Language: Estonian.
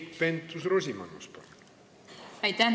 Keit Pentus-Rosimannus, palun!